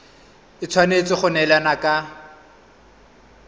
e tshwanetse go neelana ka